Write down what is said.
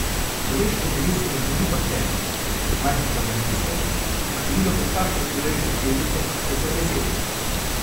V človeškem telesu mrgoli bakterij, majhnih organizmov, ki po številu prekašajo človeške celice za desetkrat.